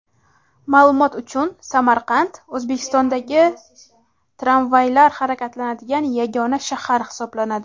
Ma’lumot uchun, Samarqand O‘zbekistondagi tramvaylar harakatlanadigan yagona shahar hisoblanadi.